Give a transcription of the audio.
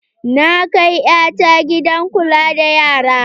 Na kai ƴata gidan kula da yara.